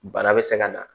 Bana bɛ se ka na